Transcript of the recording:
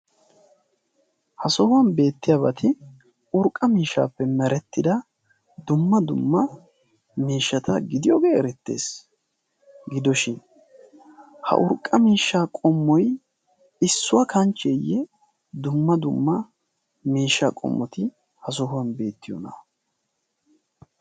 ha sohuwan beettiyaabati urqqa miishshaappe merettida dumma dumma miishshata gidiyoogee erettees gidoshin ha urqqa miishsha qommoy issuwaa kanchcheeyye dumma dumma miishsha qommoti ha sohuwan beettiyoona